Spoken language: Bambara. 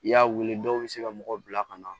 I y'a wele dɔw bɛ se ka mɔgɔ bila ka na